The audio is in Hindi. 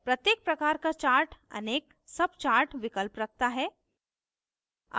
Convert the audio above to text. प्रत्येक प्रकार का chart अनेक chart विकल्प रखता है